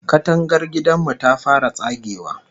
Katangar gidan mu ta fara tsagewa